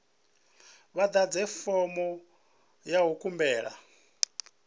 vha ḓadze fomo ya khumbelo